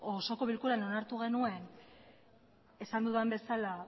osoko bilkuran onartu genuen esan dudan bezala